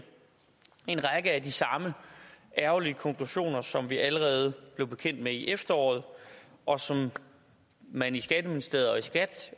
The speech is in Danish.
en række af de samme ærgerlige konklusioner som vi allerede blev bekendt med i efteråret og som man i skatteministeriet og i skat